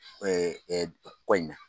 Ko in na